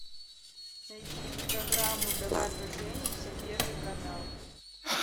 найди программу давай поженимся первый канал